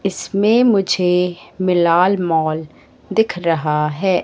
इसमें मुझे मिलाल मॉल दिख रहा है।